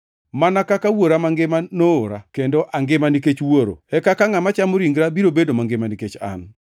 Mana kaka Wuoro Mangima noora, kendo angima nikech Wuoro, e kaka ngʼama chamo ringra biro bedo mangima nikech an.